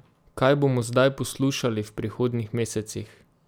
Kaj bomo zdaj poslušali v prihodnjih mesecih?